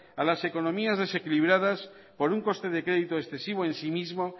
a las economías desequilibradas por un coste de crédito excesivo en sí mismo